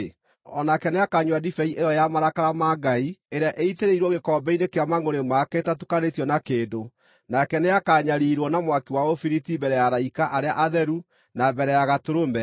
o nake nĩakanyua ndibei ĩyo ya marakara ma Ngai, ĩrĩa ĩitĩrĩirwo gĩkombe-inĩ kĩa mangʼũrĩ make ĩtatukanĩtio na kĩndũ. Nake nĩakanyariirwo na mwaki wa ũbiriti mbere ya araika arĩa atheru na mbere ya Gatũrũme.